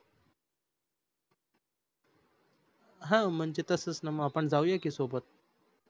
ह म्हणजे तसच न मग आपण जावूया कि सोबत.